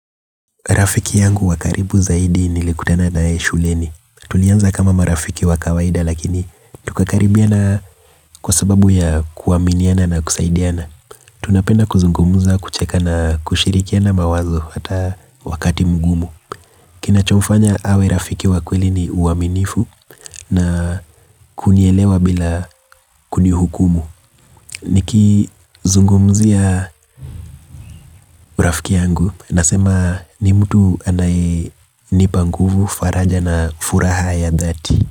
Rafiki yangu wa karibu zaidi nilikutana naye shuleni. Tulianza kama marafiki wa kawaida lakini tukakaribiana kwa sababu ya kuaminiana na kusaidiana. Tunapenda kuzungumza, kucheka na kushirikiana mawazo hata wakati mgumu. Kinachomfanya awe rafiki wa kweli ni uaminifu na kunielewa bila kunihukumu. Nikizungumzia rafiki yangu nasema ni mtu anayenipa nguvu faraja na furaha ya dhati.